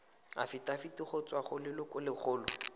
afitafiti go tswa go lelokolegolo